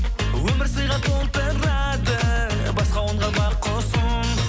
өмір сыйға толтырады басқа қонған бақ құсым